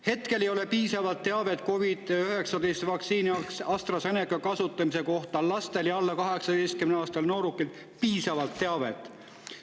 Hetkel ei ole COVID-19 vaktsiini, AstraZeneca, kasutamise kohta laste ja alla 18-aastaste noorukite puhul piisavalt teavet.